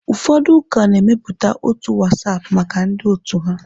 Ụfọdụ ụka na-emepụta otu WhatsApp maka ndị otu ha.